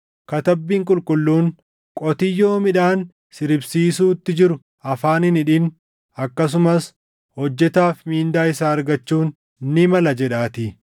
Katabbiin Qulqulluun, “Qotiyyoo midhaan siribsiisuutti jiru afaan hin hidhin; + 5:18 \+xt KeD 25:4\+xt*” akkasumas, “Hojjetaaf mindaa isaa argachuun ni mala + 5:18 \+xt Luq 10:7\+xt*” jedhaatii.